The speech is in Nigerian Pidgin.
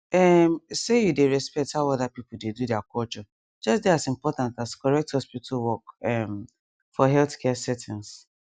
ehm say you dey respect how other people dey do their culture just dey as important as correct hospital work ehm for healthcare settings